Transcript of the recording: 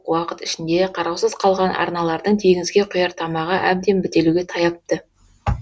уақыт ішінде қараусыз қалған арналардың теңізге құяр тамағы әбден бітелуге таяпты